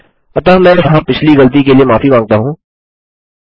अतः मैं यहाँ पिछली गलती के लिए माफी माँगता हूँ